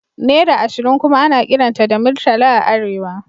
Naira ashirin kuma ana kiranta da Murtala a Arewa